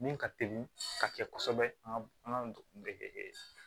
Min ka teli ka kɛ kɔsɛbɛ an ka an ka